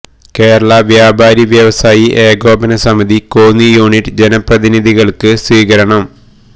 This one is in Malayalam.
കേരള വ്യാപാരി വ്യവസായി ഏകോപന സമിതി കോന്നി യൂണിറ്റ് ജനപ്രതിനിധികൾക്ക് സ്വീകരണം